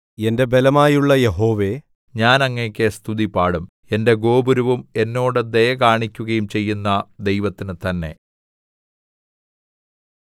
എന്റെ ബലമായുള്ള യഹോവേ ഞാൻ അങ്ങേക്ക് സ്തുതിപാടും എന്റെ ഗോപുരവും എന്നോട് ദയ കാണിക്കുകയും ചെയ്യുന്ന ദൈവത്തിനു തന്നെ